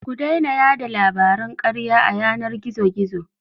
Ku daina yaɗa labaran karya a yanar gizo-gizo.